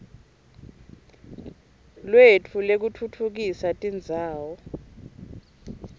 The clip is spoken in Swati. lwetfu lwekutfutfukisa tindzawo